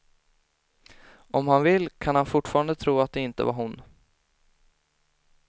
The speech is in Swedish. Om han vill, kan han fortfarande tro att det inte var hon.